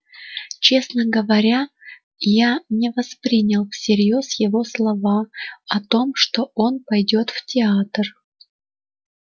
честно говоря я не воспринял всерьёз его слова о том что он пойдёт в театр